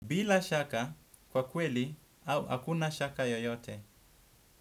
Bila shaka kwa kweli, hakuna shaka yoyote.